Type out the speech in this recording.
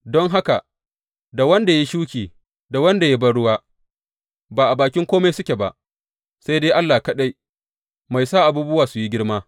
Don haka, da wanda ya yi shuki, da wanda ya yi banruwa, ba a bakin kome suke ba, sai dai Allah kaɗai, mai sa abubuwa su yi girma.